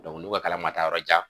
n'u ka kalan ma taa yɔrɔjan.